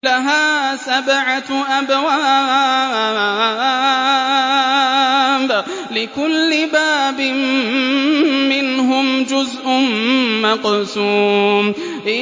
لَهَا سَبْعَةُ أَبْوَابٍ لِّكُلِّ بَابٍ مِّنْهُمْ جُزْءٌ مَّقْسُومٌ